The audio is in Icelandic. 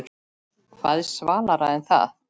Hvað er svalara en það?